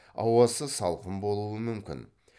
ауасы салқын болуы мүмкін